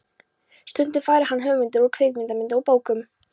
Stundum fær hann hugmyndir úr kvikmyndum og bókum.